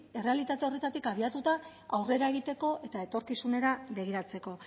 errealitate horretatik abiatuta aurrera egiteko eta etorkizunera begiratzeko